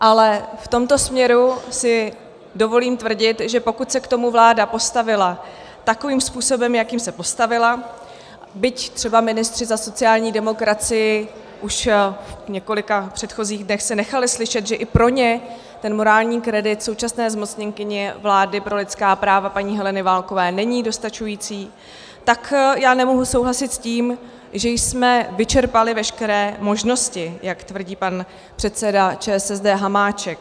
Ale v tomto směru si dovolím tvrdit, že pokud se k tomu vláda postavila takovým způsobem, jakým se postavila, byť třeba ministři za sociální demokracii už v několika předchozích dnech se nechali slyšet, že i pro ně ten morální kredit současné zmocněnkyně vlády pro lidská práva, paní Heleny Válkové, není dostačující, tak já nemohu souhlasit s tím, že jsme vyčerpali veškeré možnosti, jak tvrdí pan předseda ČSSD Hamáček.